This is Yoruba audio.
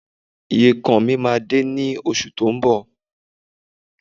Ìyekan mi máa dé ní oṣù tó ń bọ̀